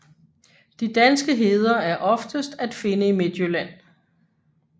De danske heder er oftest at finde i Midtjylland